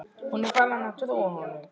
Hún er farin að trúa honum.